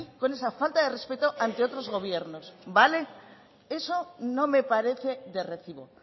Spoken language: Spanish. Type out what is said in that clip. con esa falta de respeto ante otros gobiernos vale eso no me parece de recibo